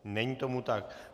Není tomu tak.